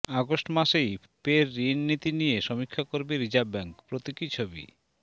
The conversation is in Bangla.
অগাস্ট মাসেই পের ঋণনীতি নিয়ে সমীক্ষা করবে রিজার্ভ ব্যাঙ্ক প্রতীকী ছবি